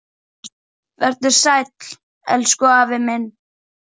Vertu sæll, elsku afi minn.